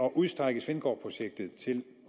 udstrække svendborgprojektet til